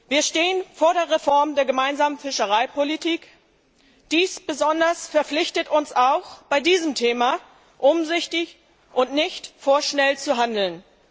Wir stehen vor der Reform der Gemeinsamen Fischereipolitik, daher sind wir besonders verpflichtet, auch bei diesem Thema umsichtig und nicht vorschnell zu handeln.